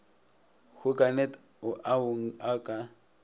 hoganet o ao a ka